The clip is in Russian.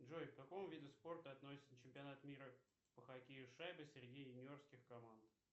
джой к какому виду спорта относится чемпионат мира по хоккею с шайбой среди юниорских команд